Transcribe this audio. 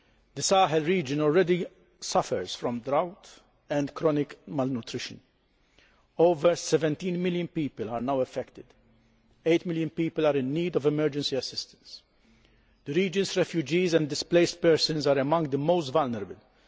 The Sahel region already suffers from drought and chronic malnutrition. Over 17 million people are now affected, with 8 million people in need of emergency assistance. The region's refugees and displaced persons are among the most vulnerable.